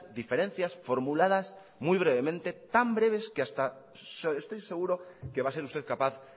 diferencias formuladas muy brevemente tan breves que hasta estoy seguro que va a ser usted capaz